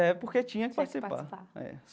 É, porque tinha que participar. Eh.